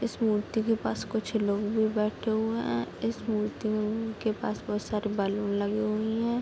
इस मूर्ति के पास कुछ लोग भी बेठे हुए हैं । इस मूर्ति के पास बहुत सारे बैलून लगे हुए हैं ।